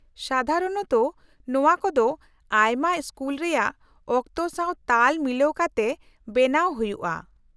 -ᱥᱟᱫᱷᱟᱨᱚᱱᱚᱛᱚ ᱱᱚᱶᱟ ᱠᱚᱫᱚ ᱟᱭᱢᱟ ᱥᱠᱩᱞ ᱨᱮᱭᱟᱜ ᱚᱠᱛᱚ ᱥᱟᱶ ᱛᱟᱞ ᱢᱤᱞᱟᱹᱣ ᱠᱟᱛᱮ ᱵᱮᱱᱟᱣ ᱦᱩᱭᱩᱜᱼᱟ ᱾